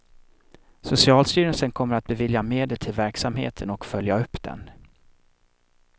Socialstyrelsen kommer att bevilja medel till verksamheten och följa upp den.